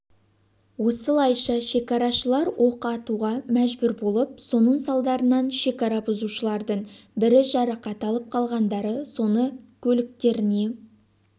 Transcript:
осылайша шекарашылар оқ атуға мәжбүр болып соның салдарынан шекара бұзушылардың бірі жарақат алып қалғандары соны көліктеріне